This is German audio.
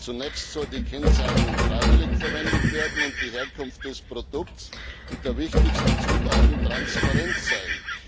Zunächst soll die Kennzeichnung freiwillig verwendet werden und die Herkunft des Produkts und der wichtigsten Zutaten transparent sein.